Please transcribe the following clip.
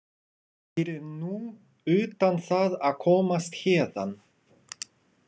Fyrir nú utan það að komast héðan.